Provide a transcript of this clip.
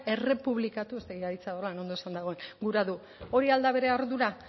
errepublikatu ez dakit aditza horrela ondo esanda dagoen gura du hori al da bere ardura